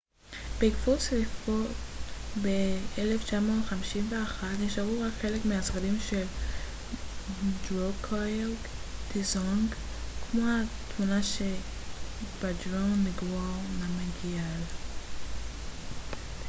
בעקבות שריפה ב-1951 נשארו רק חלק מהשרידים של דרוקגייל דזונג כמו התמונה של שבדרונג נגוואנג נמגיאל